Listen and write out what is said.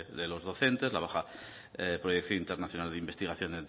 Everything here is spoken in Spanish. de los docentes la baja proyección internacional de investigación